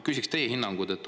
Küsiksin teie hinnangut.